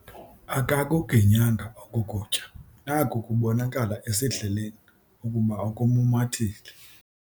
Akakuginyanga oku kutya naku kubonakala esidleleni ukuba ukumumathile.